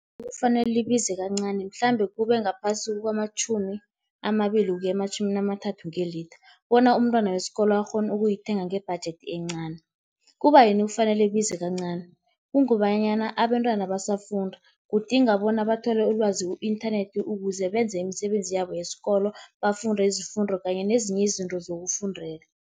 Kufanele libize kancani mhlambe kube ngaphasi kwamatjhumi amabili ukuya ematjhumi amathathu ngelitha, bona umntwana wesikolo akghone ukuyithenga nge-budget encani. Kubayini kufanele ibize kancani, kungobanyana abentwana basafunda, kudinga bona bathole ulwazi ku-inthanethi, ukuze benze imisebenzi yabo yesikolo bafunde izifundo kanye nezinye izinto zokufundela.